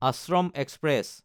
Ashram express